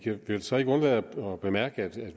vil så ikke undlade at bemærke at